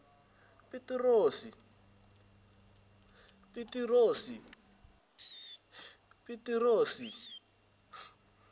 pitirosi